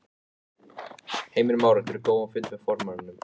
Heimir Már: Áttirðu góðan fund með formanninum?